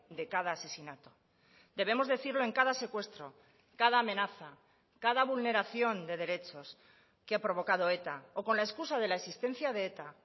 de cada asesinato debemos decirlo en cada secuestro cada amenaza cada vulneración de derechos que ha provocado eta o con la excusa de la existencia de eta